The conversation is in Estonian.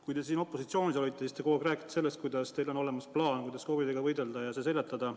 Kui te siin opositsioonis olite, siis te kogu aeg rääkisite sellest, et teil on olemas plaan, kuidas COVID-iga võidelda ja see seljatada.